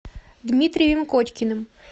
дмитрием кочкиным